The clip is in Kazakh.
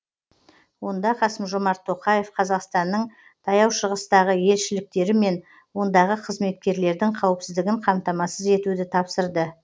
онда қасым жомарт тоқаев қазақстанның таяу шығыстағы елшіліктері мен ондағы қызметкерлердің қауіпсіздігін қамтамасыз етуді тапсырды